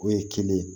O ye kelen ye